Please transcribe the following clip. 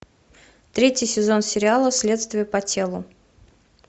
третий сезон сериала следствие по телу